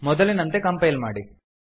ಮೊದಲಿನಂತೆ ಕಂಪೈಲ್ ಮಾಡಿ